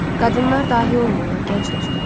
Qadınlar dahi olmurlar, gənc dostum.